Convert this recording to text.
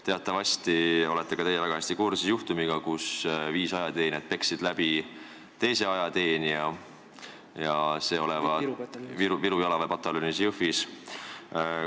Teatavasti olete ka teie väga hästi kursis juhtumiga, kus viis ajateenijat peksid ühe ajateenija läbi, ja see olevat juhtunud Viru jalaväepataljonis Jõhvis.